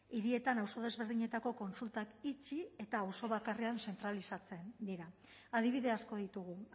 hirietan auzo desberdinetako kontsultak itxi eta auzo bakarrean zentralizatzen dira adibide asko ditugu